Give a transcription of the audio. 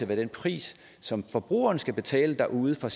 den pris som forbrugerne skal betale derude for